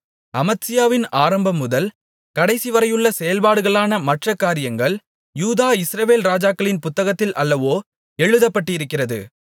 அமத்சியாவின் ஆரம்பம்முதல் கடைசிவரையுள்ள செயல்பாடுகளான மற்ற காரியங்கள் யூதா இஸ்ரவேல் ராஜாக்களின் புத்தகத்தில் அல்லவோ எழுதப்பட்டிருக்கிறது